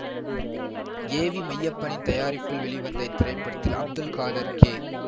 ஏ V மெய்யப்பனின் தயாரிப்பில் வெளிவந்த இத்திரைப்படத்தில் அப்துல் காதர் கே